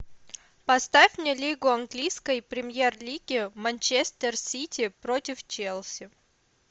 поставь мне лигу английской премьер лиги манчестер сити против челси